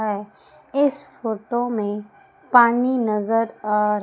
इस फोटो में पानी नजर आ--